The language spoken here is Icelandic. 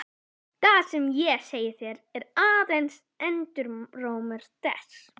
Það sem ég segi þér er aðeins endurómur þess.